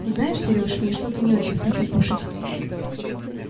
знаешь серёж я что-то не очень хочу кушать